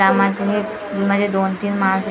यामध्ये म्हणजे दोन-तीन मार्क्स --